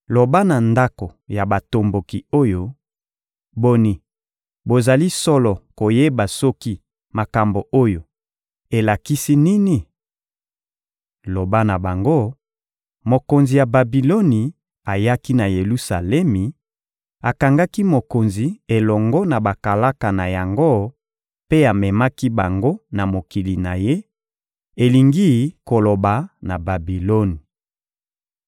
«Loba na ndako ya batomboki oyo: ‹Boni, bozali solo koyeba soki makambo oyo elakisi nini?› Loba na bango: ‹Mokonzi ya Babiloni ayaki na Yelusalemi, akangaki mokonzi elongo na bakalaka na yango mpe amemaki bango na mokili na ye, elingi koloba na Babiloni.